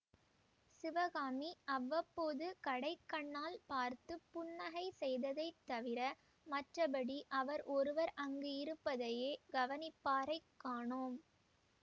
சிவகாமி அவ்வப்போது கடைக்கண்ணால் பார்த்து புன்னகை செய்ததைத் தவிர மற்றபடி அவர் ஒருவர் அங்கு இருப்பதையே கவனிப்பாரைக் காணோம்